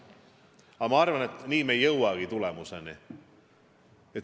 Aga ma arvan, et nii me ei jõuagi tulemuseni.